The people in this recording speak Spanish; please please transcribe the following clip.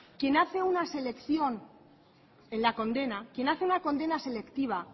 quien hace una selección en la condena quien hace una condena selectiva